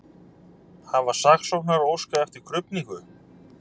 Hafa saksóknarar óskað eftir krufningu